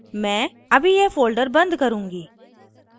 मैं अभी यह folder बंद करुँगी